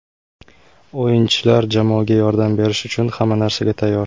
O‘yinchilar jamoaga yordam berish uchun hamma narsaga tayyor.